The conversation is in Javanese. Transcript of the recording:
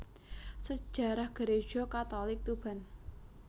Sejarah Gereja Katolik Tuban